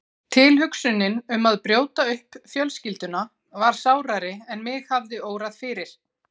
Tilhugsunin um að brjóta upp fjölskylduna var sárari en mig hafði órað fyrir.